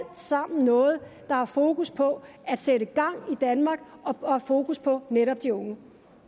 sammen noget der har fokus på at sætte gang i danmark og fokus på netop de unge